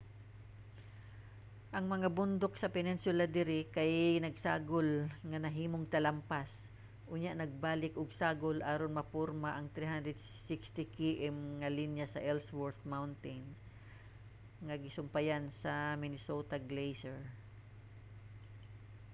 ang mga bundok sa peninsula diri kay nagsagol nga nahimong talampas unya nagbalik og sagol aron maporma ang 360 km nga linya sa ellsworth mountains nga gisumpayan sa minnesota glacier